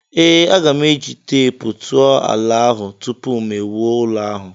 Ee, aga m eji teepu tụọ ala ahụ tupu mụ ewuo ụlọ ahụ.